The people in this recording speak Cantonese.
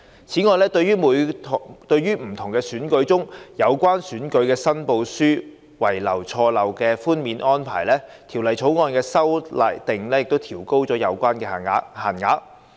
此外，對於在不同選舉中有關選舉申報書輕微錯漏的寬免安排，《條例草案》的修訂亦調高有關限額。